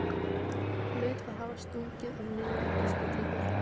Hlaut að hafa stungið af niður í diskótekið.